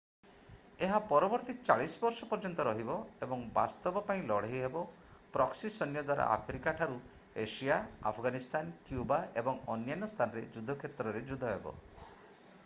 ଏହା ପରବର୍ତ୍ତୀ 40 ବର୍ଷ ପର୍ଯ୍ୟନ୍ତ ରହିବ ଏବଂ ବାସ୍ତବ ପାଇଁ ଲଢ଼େଇ ହେବ ପ୍ରକ୍ସି ସୈନ୍ୟ ଦ୍ୱାରା ଆଫ୍ରିକା ଠାରୁ ଏସିଆ ଆଫଗାନିସ୍ତାନ କ୍ୟୁବା ଏବଂ ଅନ୍ୟାନ୍ୟ ସ୍ଥାନର ଯୁଦ୍ଧକ୍ଷେତ୍ରରେ ଯୁଦ୍ଧ ହେବ